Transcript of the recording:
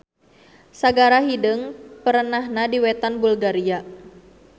Sagara Hideung perenahna di wetan Bulgaria.